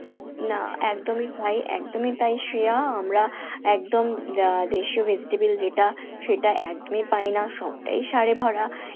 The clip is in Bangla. না একদমই তাই, একদমই তাই শ্রেয়া আমরা একদম আহ দেশীয় vegetable যেটা সেটা একদমই পাইনা, সবটাই সারে ভরা